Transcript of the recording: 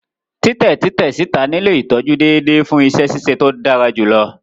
Titẹ titẹ sita nilo itọju deede fun iṣẹ ṣiṣe to dara julọ.